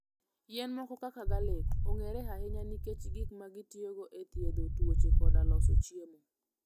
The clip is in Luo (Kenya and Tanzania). Yien moko kaka garlic, ong'ere ahinya nikech gik ma gitiyogo e thiedho tuoche koda loso chiemo.